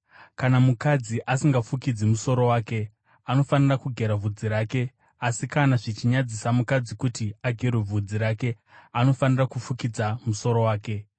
Kana mukadzi asingafukidzi musoro wake, anofanira kugera bvudzi rake; asi kana zvichinyadzisa mukadzi kuti agerwe bvudzi rake, anofanira kufukidza musoro wake.